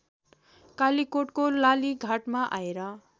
कालीकोटको लालीघाटमा आएर